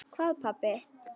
Hvað pabbi?